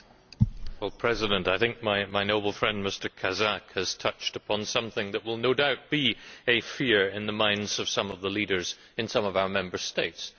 Madam President, I think my noble friend, Mr Kazak, has touched upon something that will no doubt be a fear in the minds of some of the leaders in some of our Member States.